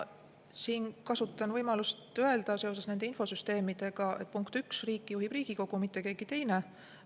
Mina kasutan võimalust öelda seoses nende infosüsteemidega, et punkt üks: riiki juhib Riigikogu, mitte keegi teine.